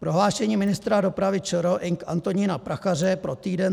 Prohlášení ministra dopravy ČR Ing. Antonína Prachaře pro Týden.